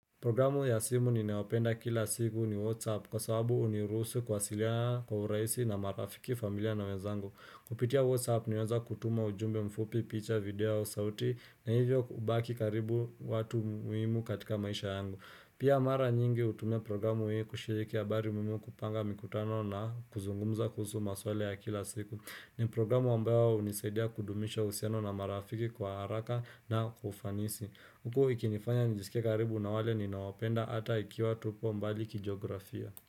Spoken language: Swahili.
Programu ya simu ninayopenda kila siku ni Whatsapp kwa sababu huniruhusu kuwasiliana kwa urahisi na marafiki familia na wezangu. Kupitia Whatsapp nimeweza kutuma ujumbe mfupi, picha, video, sauti na hivyo kubaki karibu watu muhimu katika maisha yangu. Pia mara nyingi hutuma programu mimi kushiriki habari muhimu kupanga mikutano na kuzungumza kuhusu maswala ya kila siku. Ni programu ambayo hunisaidia kudumisha uhusiano na marafiki kwa haraka na ufanisi. Huku ikinifanya nijisike karibu na wale ninawapenda ata ikiwa tupo mbali kijografia.